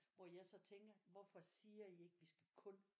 Hvor jeg så tænker hvorfor siger I ikke vi skal kun